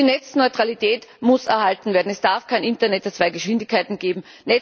Die Netzneutralität muss erhalten werden, es darf kein Internet der zwei Geschwindigkeiten geben.